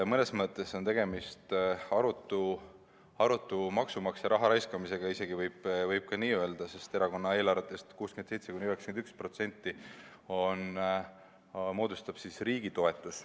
Mõnes mõttes on tegemist maksumaksja raha arutu raiskamisega, isegi võib ka nii öelda, sest erakonna eelarvetest 67–91% moodustab riigi toetus.